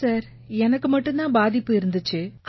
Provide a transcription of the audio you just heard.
இல்லை சார் எனக்கு மட்டும் தான் பாதிப்பு இருந்திச்சு